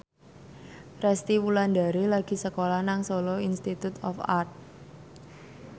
Resty Wulandari lagi sekolah nang Solo Institute of Art